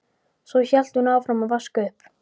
Svo hélt hún áfram að vaska upp.